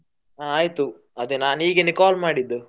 ಹ ಆಯ್ತು ಅದೆ ನಾನ್ ಹೀಗೆನೇ call ಮಾಡಿದ್ದು.